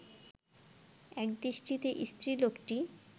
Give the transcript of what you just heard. একদৃষ্টিতে স্ত্রীলোকটি